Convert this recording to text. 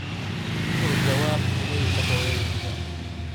u qor jawaab iimayka hooyadeyda